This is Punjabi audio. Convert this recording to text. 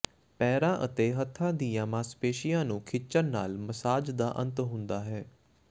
ਪੈਰਾਂ ਅਤੇ ਹੱਥਾਂ ਦੀਆਂ ਮਾਸਪੇਸ਼ੀਆਂ ਨੂੰ ਖਿੱਚਣ ਨਾਲ ਮਸਾਜ ਦਾ ਅੰਤ ਹੁੰਦਾ ਹੈ